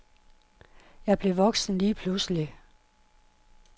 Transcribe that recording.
Jeg blev voksen lige pludselig.